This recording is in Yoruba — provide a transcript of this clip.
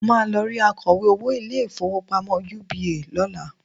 Mo máa lọ rí akọ̀wé owó ilé-ìfowópamọ́ UBA lọ́la